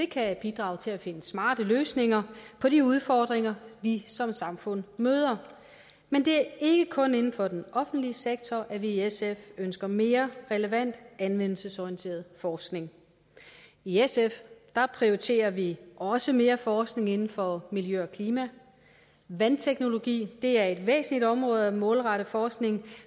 kan bidrage til at finde smarte løsninger på de udfordringer vi som samfund møder men det er ikke kun inden for den offentlige sektor at vi i sf ønsker mere relevant anvendelsesorienteret forskning i sf prioriterer vi også mere forskning inden for miljø og klima vandteknologi er et væsentlig område at målrette forskningen